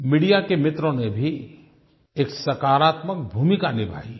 media के मित्रों ने भी एक सकारात्मक भूमिका निभाई है